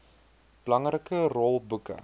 belangrike rol boeke